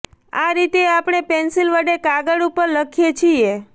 આ રીતે આપણે પેન્સિલ વડે કાગળ ઉપર લખીએ છીએ